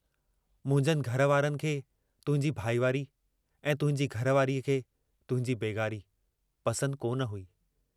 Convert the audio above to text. मुंहिंजनि घर वारनि खे तुहिंजी भाईवारी ऐं तुहिंजी घरवारीअ खे तुहिंजी बेग़ारी पसंदि कोन हुई।